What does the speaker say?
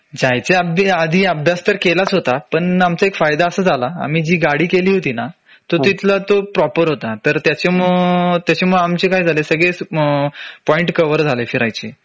जायच्या आधी अभ्यास तर केलाच होता पण आमचा एक फायदा असा झाला आम्ही जी गाडी केली होती ना तो तिथला तो प्रॉपर होता तर त्याच्यामुळं त्याच्यामुळं आमचे काय झाले सगळे पॉईंट कव्हर झाले फिरायचे